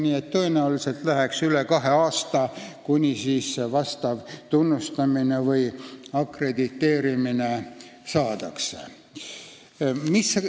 Nii et tõenäoliselt läheb üle kahe aasta, kuni tunnustamine või akrediteerimine saadakse.